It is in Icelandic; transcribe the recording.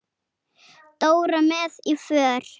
Dóra með í för.